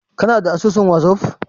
Kana da asusun wazaf?